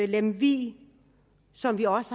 lemvig som vi også